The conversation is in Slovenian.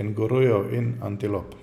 kengurujev in antilop.